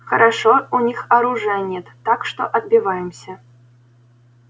хорошо у них оружия нет так что отбиваемся